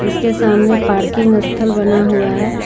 इसके सामने पार्किंग स्थल बना हुआ है।